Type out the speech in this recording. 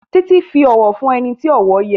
Titi fí òwò fún ẹní tí owó yé.